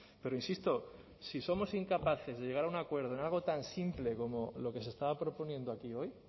pero insisto si somos incapaces de llegar a un acuerdo en algo tan simple como lo que se estaba proponiendo aquí hoy